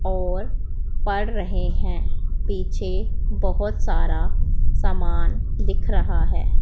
और पढ़ रहे है पीछे बहोत सारा सामान दिख रहा है।